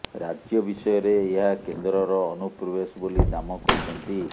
ରାଜ୍ୟ ବିଷୟରେ ଏହା କେନ୍ଦ୍ରର ଅନୁପ୍ରବେଶ ବୋଲି ଦାମ କହିଛନ୍ତି